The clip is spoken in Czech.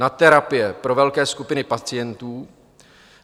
Na terapie pro velké skupiny pacientů.